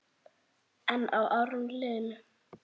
En árin liðu.